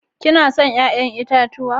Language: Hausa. Kena son 'ƴa'ƴan itatuwa?